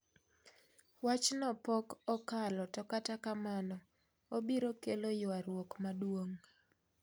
Wachno pok okalo to kata kanmano obiro kelo ywaruok maduong'